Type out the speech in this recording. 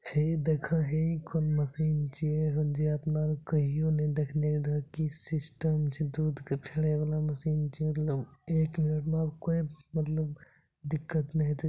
हे देखा हेइ कौन मशीन छीये हो जे अपना आर के कहियो ने देखने रीहे की सिस्टम छै दूध के फेरे वाला मशीन छै मतलब एक मिनट में आब कोय दिक्कत ने होते।